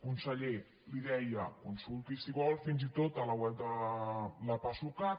conseller li deia consulti si vol fins i tot la web de la pasucat